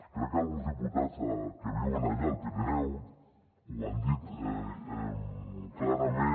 crec que alguns diputats que viuen allà al pirineu ho han dit clarament